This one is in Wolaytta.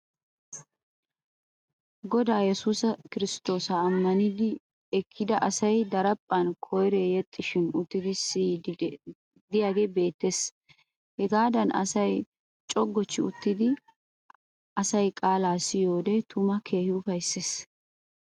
Godaa yesuusi kirsttoosa ammanidi ekkida asay daraphphan koyree yexxishin uttidi siyiiddi diyagee beettes. Hagaadan asay cogochchi uttidi asay qaalaa siyiyode tuma keehin ufaysses.